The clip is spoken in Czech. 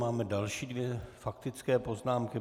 Máme další dvě faktické poznámky.